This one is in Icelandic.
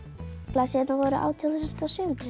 blaðsíðurnar voru átján þúsund og sjö hundruð